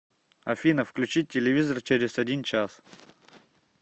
афина включить телевизор через один час